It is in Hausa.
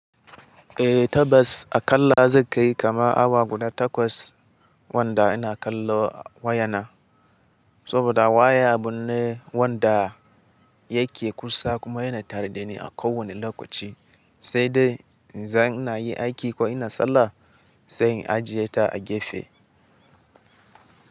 Eh tabas a ƙalla zai kai kama awa guda takwas wanda ina kallo wayana. Saboda waya abu ne wanda yake kusa kuma yana tare dani a kowane lokaci, sai dai zan yi aiki ko ina sallah sai ajiye ta a gefe.